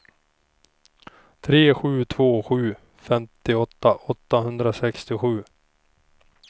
tre sju två sju femtioåtta åttahundrasextiosju